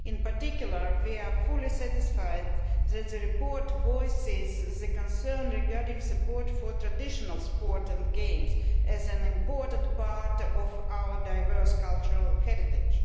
In particular we are fully satisfied that the report voices the concern regarding support for traditional sport and games as an important part of our diverse cultural heritage.